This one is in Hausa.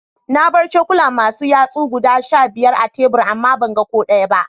Na bar cokula Masu yatsosi guda Sha biyar a tebur ama ban gan ko daya ba.